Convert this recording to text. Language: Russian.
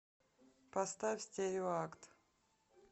поставь стереоакт